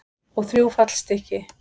Og þrjú fallstykki.